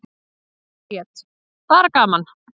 Bríet: Bara gaman.